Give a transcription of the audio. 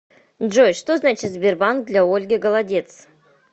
джой что значит сбербанк для ольги голодец